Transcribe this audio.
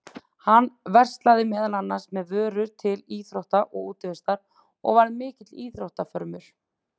Hann verslaði meðal annars með vörur til íþrótta og útivistar og var mikill íþróttafrömuður.